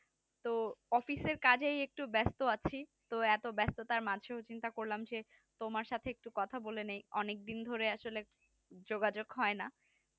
তো অফিস এর কাজেই একটু ব্যাস্ত আছি তা এত ব্যাস্ততার মাঝেও চিন্তা করলাম যে তোমার সাথে একটু কথা বলে নিই অনেক দিন ধরে আসলে যোগাযোগ হয় না